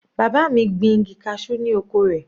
Bàbá mi gbin igi cashew ni oko rẹ̀.